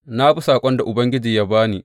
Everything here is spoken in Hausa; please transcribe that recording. Na bi saƙon da Ubangiji ya ba ni.